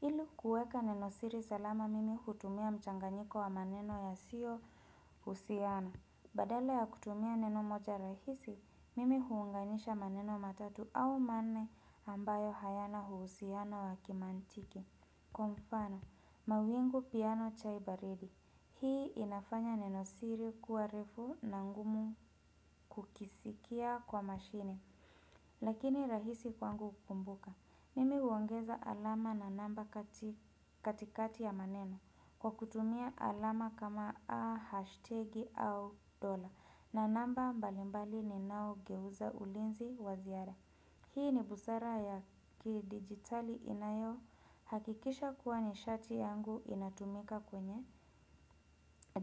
Ili kuweka neno siri salama mimi hutumia mchanganyiko wa maneno yasiyohusiana. Badala ya kutumia neno moja rahisi, mimi huunganisha maneno matatu au manne ambayo hayana uhusiano wa kimantiki. Kwa mfano, mawingu, piano, chai baridi. Hii inafanya neno siri kuwa refu na ngumu kukisikia kwa mashine. Lakini rahisi kwangu kukumbuka. Mimi huongeza alama na namba katikati ya maneno, kwa kutumia alama kama ahashtegi au dola, na namba mbalimbali ninaogeuza ulinzi wa ziara. Hii ni busara ya kidigitali inayohakikisha kuwa nishati yangu inatumika kwenye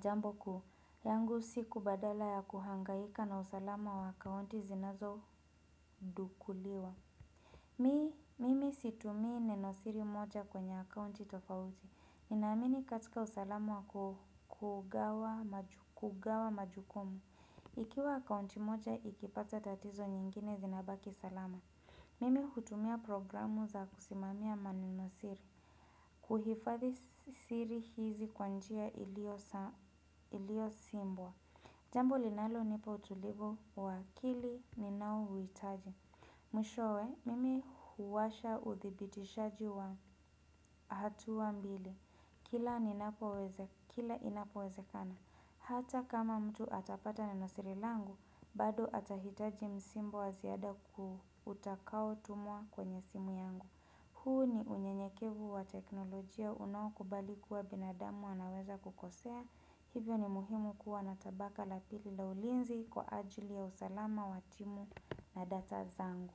jambo kuu. Yangu siku badala ya kuhangaika na usalama wa akaunti zinazodukuliwa. Mi mimi situmii neno siri moja kwenye akaunti tofauti, ninaamini katika usalama kugawa majukumu. Ikiwa akaunti moja ikipata tatizo nyingine zinabaki salama. Mimi hutumia programu za kusimamia manenosiri. Huhifadhi siri hizi kwa njia iliyosimbwa. Jambo linalonipa utulivu wa akili ninaouhitaji. Mwishowe, mimi huwasha uthibitishaji wa hatua mbili. Kila inapowezekana. Hata kama mtu atapata nenosiri langu, bado atahitaji msimbo wa ziada ku, utakaotumwa kwenye simu yangu. Huu ni unyenyekevu wa teknolojia unaokubali kuwa binadamu anaweza kukosea. Hivyo ni muhimu kuwa na tabaka la pili la ulinzi kwa ajili ya usalama wa timu na data zangu.